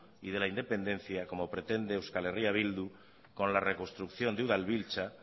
y de la independencia como pretende euskal herria bildu con la reconstrucción de udalbiltza